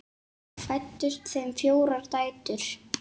Fæddust þeim fjórar dætur.